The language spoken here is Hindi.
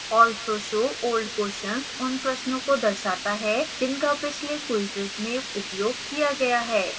also show old questions उन प्रश्नों को दर्शाता है जिनका पिछले क्वीजेज में उपयोग किया गया